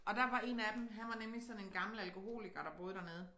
Og der var 1 af dem han var nemlig sådan en gammel alkoholiker der boede dernede